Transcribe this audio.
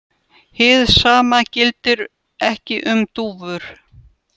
Hið sama gildir ekki um dúfur.